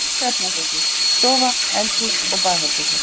Það voru tvö svefnherbergi, stofa, eldhús og baðherbergi.